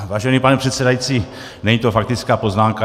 Vážený pane předsedající, není to faktická poznámka.